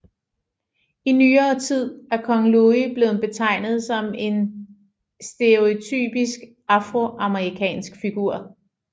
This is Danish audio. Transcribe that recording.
I nyere tid er Kong Louie blevet betegnet som en stereotypisk afroamerikansk figur